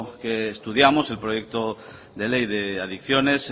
que estudiamos el proyecto de ley de adicciones